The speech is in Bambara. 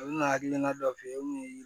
U bɛ na hakilina dɔ f'i ye o kun ye